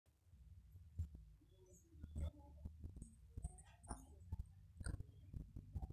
oou mpaka e benki ang inapita enkipande tenebo we nkandi ino e atm